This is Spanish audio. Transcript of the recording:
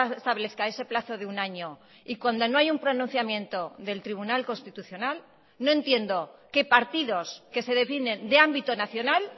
establezca ese plazo de un año y cuando no hay un pronunciamiento del tribunal constitucional no entiendo que partidos que se definen de ámbito nacional